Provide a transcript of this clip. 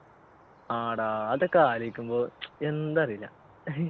ആടാ അതൊക്കെ ആലോചിക്കുമ്പോ എന്താ അറീല